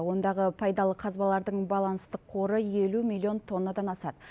ондағы пайдалы қазбалардың баланстық қоры елу миллион тоннадан асады